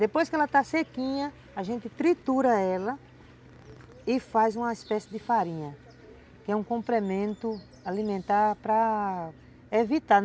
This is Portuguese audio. Depois que ela está sequinha, a gente tritura ela e faz uma espécie de farinha, que é um complemento alimentar para evitar.